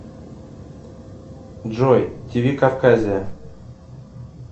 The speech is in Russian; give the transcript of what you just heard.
джой тиви кавказия